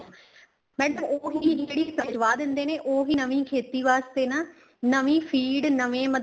madam ਉਹ ਚੀਜ਼ ਜਿਹੜੀ ਕਰਵਾ ਦਿੰਦੇ ਨੇ ਉਹ ਵੀ ਨਵੀ ਖੇਤੀ ਵਾਸਤੇ ਨਾ ਨਵੀ ਫੀਡ ਨਵੇ ਮਤਲਬ